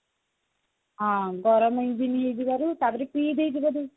ଡର ନାହି ବୋଧେ ନିଜ ଜୀବନର ଟା ପରେ ପିଇ ଦେଇଛି ବୋଧେ